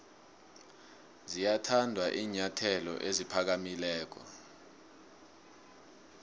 ziyathanda iinyathelo eziphakamileko